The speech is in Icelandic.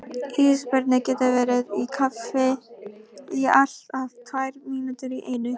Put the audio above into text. Ísbirnir geta verið í kafi í allt að tvær mínútur í einu.